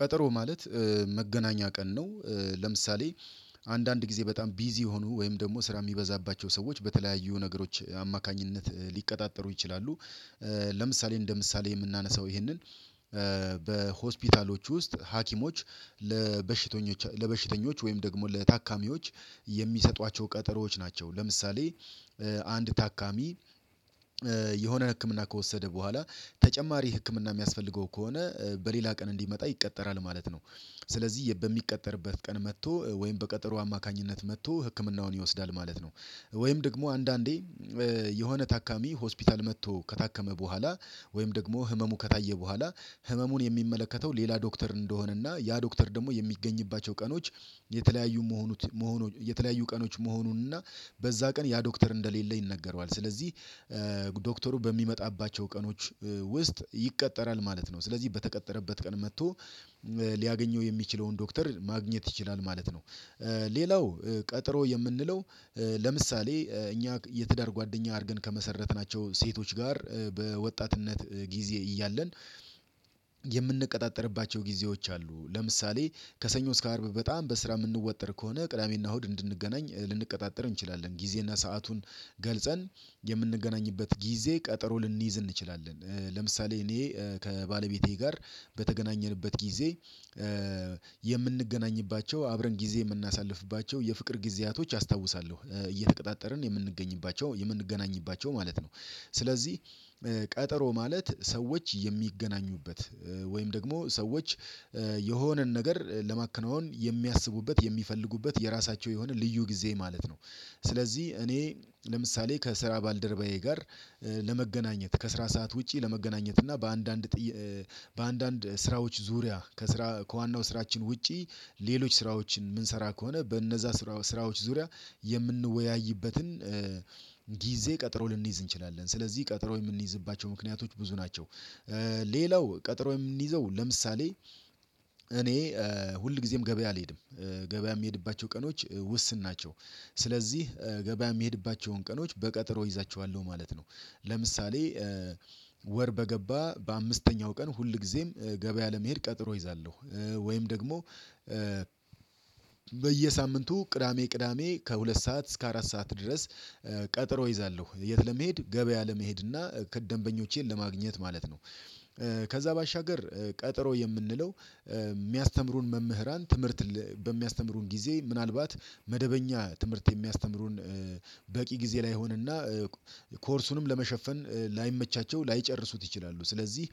ቀጠሮ ማለት መገናኛ ቀን ነው። ለምሳሌ አንዳንድ ጊዜ በጣም ቢዚ የሆኑ ወይም ደግሞ ስራ የሚበዛባቸው ሰዎች በተለያዩ ነገሮች አማካኝነት ሊቀጣጠሩ ይችላሉ። ለምሳሌ እንደ ምሳሌ የምናነሳው ይሄንን በሆስፒታሎች ውስጥ ሀኪሞች ለበሽተኞች ወይም ደግሞ ለታካሚዎች የሚሰጧቸው ቀጠሮዎች ናቸው። ለምሳሌ አንድ ታካሚ የሆነ ህክምና ከወሰደ በኋላ ተጨማሪ ህክምና የሚያስፈልገው ከሆነ በሌላ ቀን እንዲመጣ ይቀጠራል ማለት ነ። ው ስለዚህ በሚቀጠርበት ቀን መጥቶ ወይም በቀጠሮ አማካኝነት መጥቶ ህክምናውን ይወስዳል ማለት ነው። ወይም ደግሞ አንዳንዴ የሆነ ታካሚ ሆስፒታል መጥቶ ከታከመ በኋላ ወይም ደግሞ ህመሙ ከታየ በኋላ ህመሙን የሚመለከተው ሌላ ዶክተር እንደሆነና ያ ዶክተር ደግሞ የሚገኝባቸው ቀኖች የተለያዩ መሆኑን መሆኑን የተለያዩ ቀኖች መሆኑን እና በዛ ቀን ያ ዶክተር እንደሌለ ይነገረዋል። ስለዚህ ዶክተሩ በሚመጣባቸው ቀኖች ውስጥ ይቀጠራል ማለት ነው። ስለዚህ በተቀጠረበት ቀን መጥቶ ሊያገኘው የሚችለውን ዶክተር ማግኘት ይችላል ማለት ነው። ሌላው ቀጠሮ የምንለው ለምሳሌ እኛ የትዳር ጓደኛ አድርገን ከመሰረትናቸው ሴቶች ጋር በወጣትነት ጊዜ እያለን የምንቀጣጠርባቸው ጊዜዎች አሉ። ለምሳሌ ከሰኞ እስከ አርብ በጣም በስራ የምንወጠር ከሆነ ቅዳሜና እሁድ እንድንገናኝ ልንቀጣጠር እንችላለን። ጊዜና ሰአቱን ገልጸን የምንገናኝበት ጊዜ ቀጠሮ ልንይዝ እንችላለን። ለምሳሌ እኔ ከባለቤቴ ጋር በተገናኘንበት ጊዜ የምንገናኝባቸው አብረን ጊዜ የምናሳልፍባቸው የፍቅር ጊዜያቶች አስታውሳለሁ። እየተቀጣጠርን የምንገኝባቸው የምንገናኝባቸው ማለት ነው። ስለዚህ ቀጠሮ ማለት ሰዎች የሚገናኙበት ወይም ደግሞ ሰዎች የሆነን ነገር ለማከናወን የሚያስቡበት የሚፈልጉበት የራሳቸው የሆነ ልዩ ጊዜ ማለት ነው። ስለዚህ እኔ ለምሳሌ ከስራ ባልደረባዬ ጋር ለመገናኘት ከስራ ሰዓት ውጪ ለመገናኘት እና በአንዳንድ በአንዳንድ ስራዎች ዙሪያ ከስራ ከዋናው ስራችን ውጪ ሌሎች ስራዎችን የምንሰራ ከሆነ በእነዛ ስራ ስራዎች ዙሪያ የምንወያይበትን ጊዜ ቀጥሮ ልንይዝ እንችላለን። ስለዚህ ቀጥሮ የምንይዝባቸው ምክንያቶች ብዙ ናቸው። ሌላው ቀጠሮ የምንይዘው ለምሳሌ እኔ ሁልጊዜም ገበያ አልሄድም። ገበያ የምሄድባቸው ቀኖች ውስን ናቸው። ስለዚህ ገበያ የሚሄድባቸውን ቀኖች በቀጠሮ እይዛቸዋለሁ ማለት ነው። ለምሳሌ ወር በገባ በአምስተኛው ቀን ሁል ጊዜም ገበያ ለመሄድ ቀጥሮ እይዛለሁ። ወይም ደግሞ በየሳምንቱ ቅዳሜ ቅዳሜ ከሁለት ሰዓት እስከ አራት ሰዓት ድረስ ቀጠሮ እይዛለሁ። የት ለመሄድ? ገበያ ለመሄድ እና ከደንበኞቼን ለማግኘት ማለት ነው። ከዛ ባሻገር ቀጠሮ የምንለው የሚያስተምሩን መምህራን ትምህርት በሚያስተምሩን ጊዜ ምናልባት መደበኛ ትምህርት የሚያስተምሩን በቂ ጊዜ ላይሆንና ኮርሱንም ለመሸፈን ላይመቻቸው ላይጨርሱት ይችላሉ። ስለዚህ